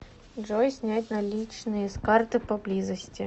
джой снять наличные с карты поблизости